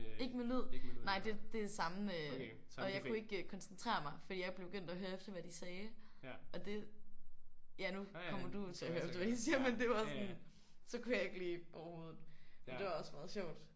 Ikke med lyd? Nej det det er samme og jeg kunne ikke koncentrere mig fordi jeg begyndte at høre efter hvad de sagde og det ja nu kommer du jo til at høre efter hvad de siger men det var sådan så kunne jeg ikke lige overhovedet. Men det var også meget sjovt